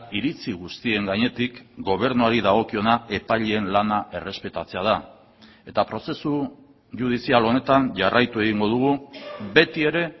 iritzi guztien gainetik gobernuari dagokiona epaileen lana errespetatzea da eta prozesu judizial honetan jarraitu egingo dugu beti ere